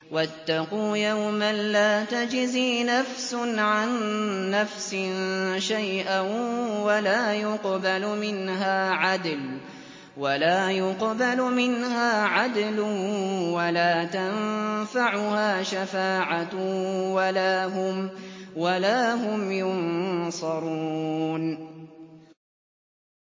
وَاتَّقُوا يَوْمًا لَّا تَجْزِي نَفْسٌ عَن نَّفْسٍ شَيْئًا وَلَا يُقْبَلُ مِنْهَا عَدْلٌ وَلَا تَنفَعُهَا شَفَاعَةٌ وَلَا هُمْ يُنصَرُونَ